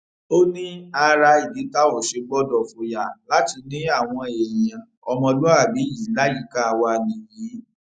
ó ní ara ìdí tá ò ṣe gbọdọ fòyà láti ní àwọn èèyàn ọmọlúàbí yìí láyìíká wa nìyí